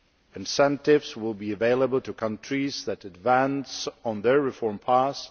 Incentives will be available to countries that advance on their reform paths.